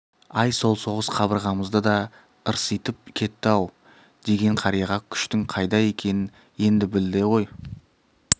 ай сол соғыс қабырғамызды да ырситып кетті ау деген қарияға күштің қайда екенін енді білді ғой